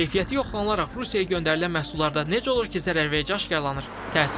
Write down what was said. Keyfiyyəti yoxlanılaraq Rusiyaya göndərilən məhsullarda necə olur ki, zərərverici aşkarlanır?